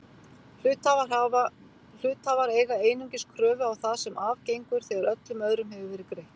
Hluthafar eiga einungis kröfu á það sem af gengur þegar öllum öðrum hefur verið greitt.